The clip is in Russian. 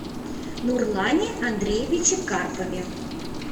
нурлане андреевиче карпове